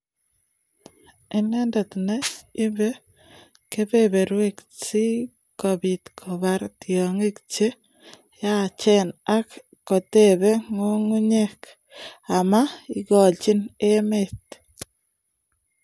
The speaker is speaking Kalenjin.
Ineendet ne ibei kebeberwek si kobiit kobar tyong'ik che yaacheen, ak kotebee ng'ung'unyek, ama igoochi emet.